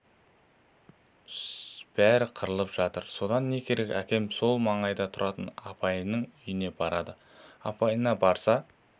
бәрі қырылып жатыр содан не керек әкем сол маңайда тұратын апайының үйіне барады апайына барса